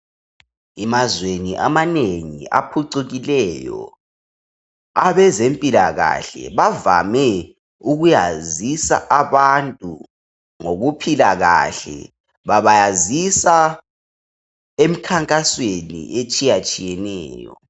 Emazweni amanengi aphucukileyo, abezempilakahle bavame ukuyazisa abantu ngokuphila kahle. Babayazisa emkhankasweni etshiyatshiyeneyo.